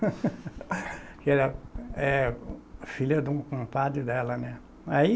Que ela é filha de um compadre dela, né? Aí